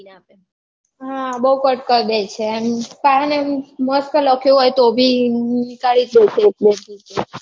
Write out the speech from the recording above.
હા બૌ cut કર દે છે એમ મસ્ત લખ્યો હોય તો બી નીકાળી દે છે એક બે pej